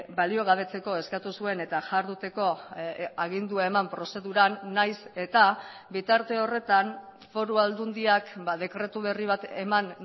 baliogabetzeko eskatu zuen eta jarduteko agindua eman prozeduran nahiz eta bitarte horretan foru aldundiak dekretu berri bat eman